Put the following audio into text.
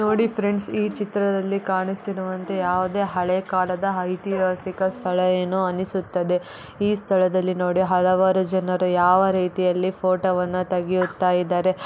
ನೋಡಿ ಫ್ರೆಂಡ್ಸ್ ಈ ಚಿತ್ರದಲ್ಲಿ ಕಾಣಿಸ್ತಿರುವಂತೆ ಯಾವುದೇ ಹಳೆ ಕಾಲದ ಐತಿಹಾಸಿಕ ಸ್ಥಳ ಏನೋ ಅನಿಸುತ್ತದೆ ಈ ಸ್ಥಳದಲ್ಲಿ ನೊಡಿ ಹಲವಾರು ಜನರು ಯಾವ ರೀತಿ ಆಲ್ಲಿ ಫೋಟೋ ವನ್ನ ತೆಗಿಯುತ ಇದ್ದಾರೆ.